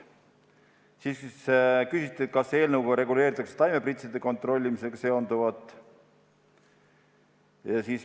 Samuti küsiti, et kas eelnõuga reguleeritakse taimepritside kontrollimisega seonduvat.